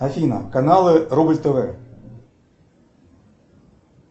афина каналы рубль тв